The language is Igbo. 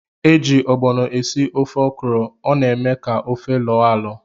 Eji ogbono esị ofe okra, ọ na- eme ka ofe loo alo.